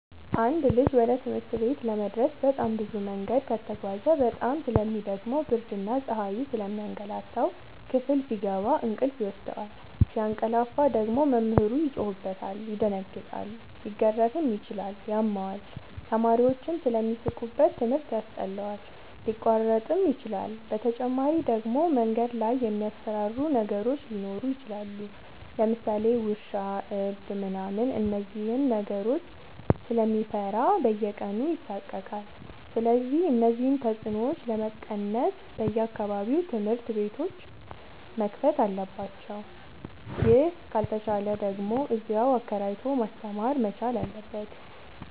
አንድ ልጅ ወደ ትምህርት ቤት ለመድረስ በጣም ብዙ መንገድ ከተጓዘ በጣም ስለሚ ደክመው ብርድና ፀሀዩ ስለሚያገላታው። ክፍል ሲገባ እንቅልፍ ይወስደዋል። ሲያቀላፍ ደግሞ መምህሩ ይጮህበታል ይደነግጣል ሊገረፍም ይችላል ያመዋል፣ ተማሪዎችም ስለሚሳለቁበት ትምህርት ያስጠላዋል፣ ሊያቋርጥም ይችላል። በተጨማሪ ደግሞ መንገድ ላይ የሚያስፈራሩ ነገሮች ሊኖሩ ይችላሉ ለምሳሌ ውሻ እብድ ምናምን እነዚህን ነገሮች ስለሚፈራ በየቀኑ ይሳቀቃል። ስለዚህ እነዚህን ተፅኖዎች ለመቀነስ በየአቅራቢያው ትምህርት ቤቶዎች መከፈት አለባቸው ይህ ካልተቻለ ደግሞ እዚያው አከራይቶ ማስተማር መቻል አለበት።